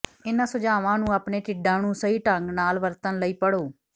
ਇਹਨਾਂ ਸੁਝਾਵਾਂ ਨੂੰ ਆਪਣੇ ਢਿੱਡਾਂ ਨੂੰ ਸਹੀ ਢੰਗ ਨਾਲ ਵਰਤਣ ਲਈ ਪੜ੍ਹੋ